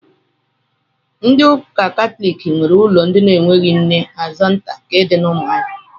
Ndị ụka katọliki nwe ụlọ ndị na-enweghị nne Asọmta nke dị na Ụmụahịa.